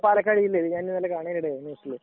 അതെയതെ പാലക്കാട് ജില്ലയിൽ. കഴിഞ്ഞ തവണ കാണാനിടയായി